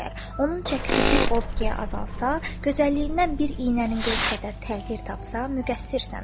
Onun çəkisi bir ovqaya azalsa, gözəlliyindən bir iynənin gözü qədər təğyir tapsa, müqəssirsən.